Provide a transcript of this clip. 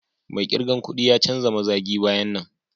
Mai kirgan kuɗ da jan mazagi baya nan.